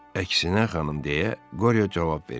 Əksinə, xanım, deyə Qoryo cavab verdi.